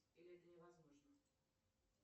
или это невозможно